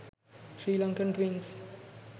srilankan twinks